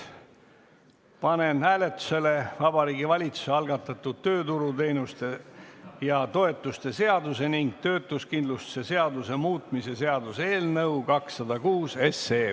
Panen hääletusele Vabariigi Valitsuse algatatud tööturuteenuste ja -toetuste seaduse ning töötuskindlustuse seaduse muutmise seaduse eelnõu 206.